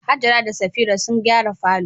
Hajara da Safira sun gyara falo.